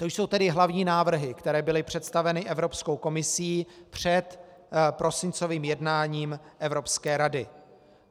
To jsou tedy hlavní návrhy, které byly představeny Evropskou komisí před prosincovým jednáním Evropské rady.